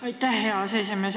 Aitäh, hea aseesimees!